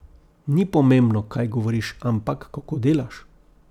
Ni pomembno, kaj govoriš, ampak kako delaš.